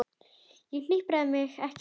Ég hnipra mig ekki saman.